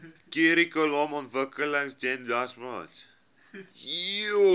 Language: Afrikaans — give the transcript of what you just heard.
kurrikulumontwikkeling jenny raultsmith